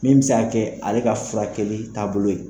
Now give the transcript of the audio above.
Min bɛ se k'a kɛ ale ka furakɛli taabolo ye,